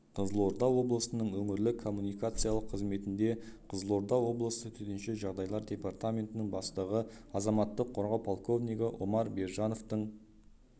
қызылорда облысының өңірлік коммуникациялық қызметінде қызылорда облысы төтенше жағдайлар департаментінің бастығы азаматтық қорғау полковнигі омар бержановтың